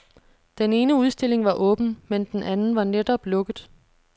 Den ene udstilling var åben, men den anden var netop lukket.